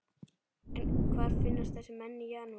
En hvar finnast þessir menn í janúar?